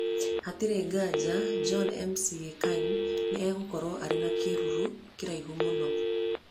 Hatarĩ nganja, John McCain nĩ egũkorũo arĩ na kĩruru kĩraihu mũno".